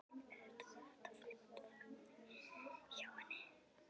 Auðvitað var þetta fljótfærni hjá henni, hrein og klár bilun.